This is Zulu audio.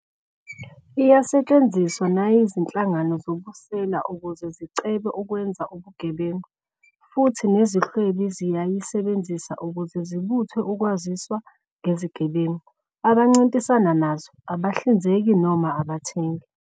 Iyasetshenziswa nayizinhkangano zobusela ukuze zicebe ukwenza ubugebengu, futhi nezihwebi ziyayisebenzisa ukuze zibuthe ukwaziswa ngezigebengu, abancintisana nazo, abahlinzeki noma abathengi.